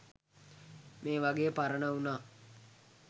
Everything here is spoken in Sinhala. මේ වගේ පරණ වුණා